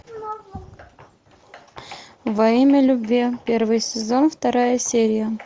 во имя любви первый сезон вторая серия